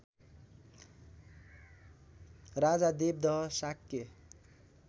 Raja Devdaha Shakya